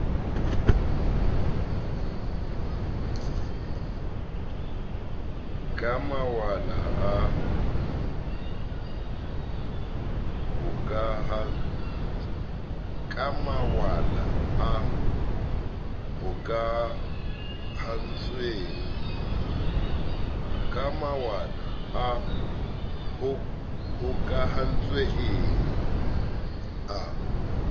ka mawala a hokahantsweng a